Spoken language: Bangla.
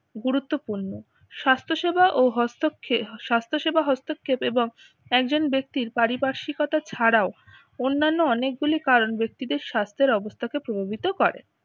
গুরুত্বপূর্ণ স্বাস্থ্য সেবা ও হস্তক্ষে স্বাস্থ্য সেবা হস্তক্ষেপ এবং একজন ব্যক্তির পারিপার্শ্বিকতা ছাড়াও অন্যান্য অনেকগুলি কারণ ব্যক্তিদের স্বাস্থ্যের অবস্থা কে প্রভাবিত করে।